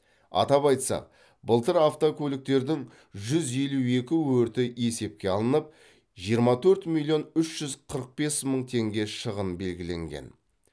атап айтсақ былтыр автокөліктердің жүз елу екі өрті есепке алынып жиырма төрт миллион үш жүз қырық бес мың теңге шығын белгіленген